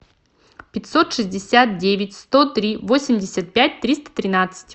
пятьсот шестьдесят девять сто три восемьдесят пять триста тринадцать